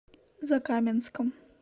закаменском